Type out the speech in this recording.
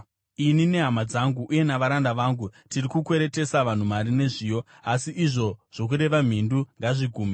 Ini nehama dzangu uye navaranda vangu tiri kukweretesa vanhu mari nezviyo. Asi izvo zvokureva mhindu ngazvigume!